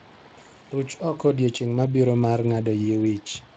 Ruch oko odiechieng' mabiro mar ng'ado yie wich.